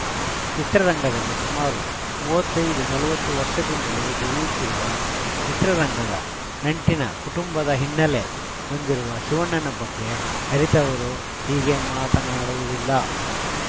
ಚಿತ್ರರಂಗದಲ್ಲಿ ಸುಮಾರು ಮೂವತ್ತ್ ಐದು ನಲವತ್ತು ವರ್ಷದಿಂದಲೂ ದುಡಿಯುತ್ತಿರುವ ಚಿತ್ರರಂಗದ ನಂಟಿನ ಕುಟುಂಬದ ಹಿನ್ನೆಲೆ ಹೊಂದಿರುವ ಶಿವಣ್ಣನ ಬಗ್ಗೆ ಅರಿತವರು ಹೀಗೆ ಮಾತನಾಡುವುದಿಲ್ಲ